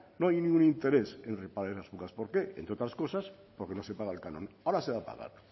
no hay ningún interés en reparar en las fugas por qué entre otras cosas porque no se paga el canon ahora se va a pagar